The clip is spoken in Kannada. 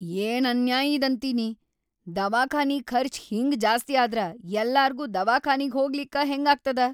ಏನ್‌ ಅನ್ಯಾಯ್‌ ಇದಂತೀನಿ, ದವಾಖಾನಿ ಖರ್ಚ್ ಹಿಂಗ್ ಜಾಸ್ತಿ ಆದ್ರ ಯಲ್ಲಾರ್ಗೂ ದವಾಖಾನಿಗ್‌ ಹೋಗ್ಲಿಕ್ಕ ಹೆಂಗಾಗ್ತದ.